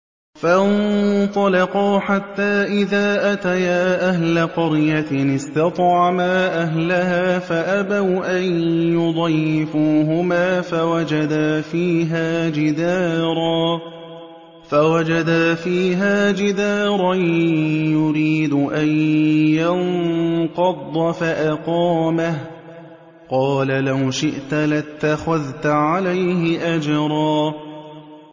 فَانطَلَقَا حَتَّىٰ إِذَا أَتَيَا أَهْلَ قَرْيَةٍ اسْتَطْعَمَا أَهْلَهَا فَأَبَوْا أَن يُضَيِّفُوهُمَا فَوَجَدَا فِيهَا جِدَارًا يُرِيدُ أَن يَنقَضَّ فَأَقَامَهُ ۖ قَالَ لَوْ شِئْتَ لَاتَّخَذْتَ عَلَيْهِ أَجْرًا